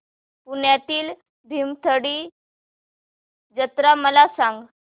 पुण्यातील भीमथडी जत्रा मला सांग